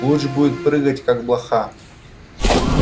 луч будет прыгать как блоха